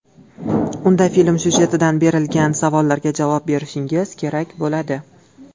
Unda film syujetidan berilgan savollarga javob berishingiz kerak bo‘ladi.